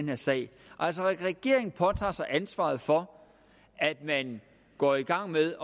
her sag altså regeringen påtager sig ansvaret for at man går i gang med